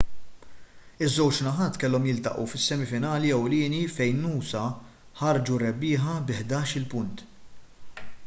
iż-żewġ naħat kellhom jiltaqgħu fis-semi finali ewlieni fejn noosa ħarġu rebbieħa bi 11-il punt